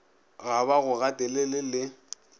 ga ba go gatelele le